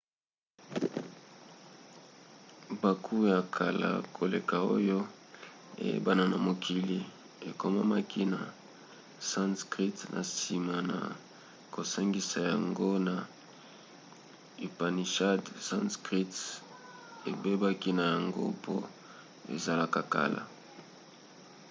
buku ya kala koleka oyo eyebana na mokili ekomamaki na sanskrit. na nsima na kosangisa yango na upanishads sanskrit ebebaki na yango mpo ezalaka kala